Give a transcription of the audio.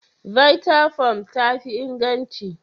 Vttafoam tafi inganci.